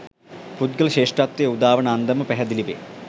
පුද්ගල ශ්‍රේෂ්ඨත්වය උදාවන අන්දම පැහැදිලිවේ.